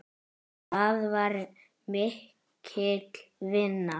Það var mikil vinna.